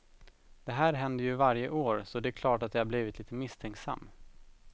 Det här händer ju varje år så det är klart att jag har blivit litet misstänksam.